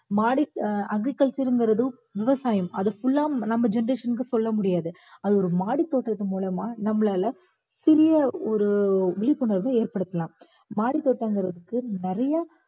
மாடி~ agriculture இங்குறது விவசாயம். அத full ஆ நம்ம generation க்கு சொல்ல முடியாது. அது ஒரு மாடி தோட்டத்தின் மூலமா நம்மளால சிறிய ஒரு விழிப்புணர்வ ஏற்படுத்தலாம். மாடித்தோட்டம்குறதுக்கு நிறைய